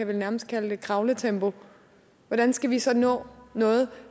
vel nærmest kan kalde kravletempo hvordan skal vi så nå noget